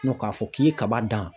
k'a fɔ k'i ye kaba dan